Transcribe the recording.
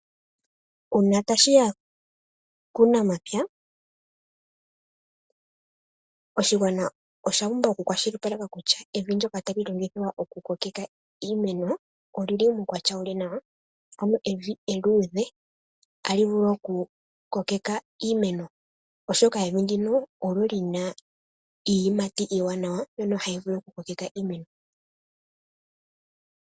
Uuna ta shiya kuunamapya, oshigwana osha pumbwa oku kwashilipaleka kutya evi ndoka tali longithwa oku kokwka iimeno olyi li muukwatya wu li nawa. Ano evi eluudhe ota li vulu oku kokeka iimeno oshoka evi nduno olyo ha li kala li na iiyimati iiwanawa mbyono hayi vulu oku kokeka iimeno.